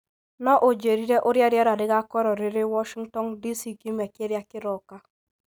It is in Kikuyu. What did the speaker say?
No ũnjĩĩre ũrĩa rĩera rĩgaakorũo rĩrĩ Washington, D.C., kiumia kĩrĩa kĩroka